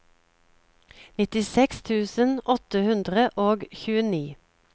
nittiseks tusen åtte hundre og tjueni